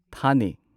ꯊꯥꯅꯦ